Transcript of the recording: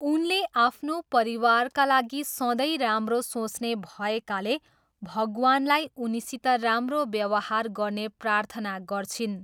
उनले आफ्नो परिवारका लागि सधैँ राम्रो सोच्ने भएकाले भगवानलाई उनीसित राम्रो व्यवहार गर्ने प्रार्थना गर्छिन्।